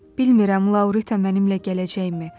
Bilirəm Laurita mənimlə gələcəkmi.